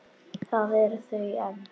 Þar eru þau enn.